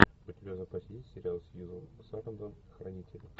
у тебя в запасе есть сериал сьюзен сарандон хранители